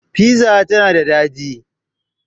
Fiza tana da daɗi